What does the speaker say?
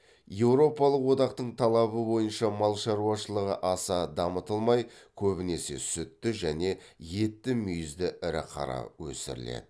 еуропалық одақтың талабы бойынша мал шаруашылығы аса дамытылмай көбінесе сүтті және етті мүйізді ірі қара өсіріледі